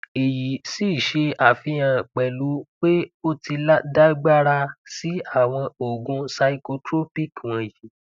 èyí sì ṣe àfihàn pẹlú pé o ti dàgbára sí àwọn oògùn psychotropic wọnyí